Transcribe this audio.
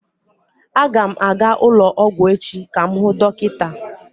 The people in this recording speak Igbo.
Aga m aga ụlọ ọgwụ echi ka m hụ dọkịta.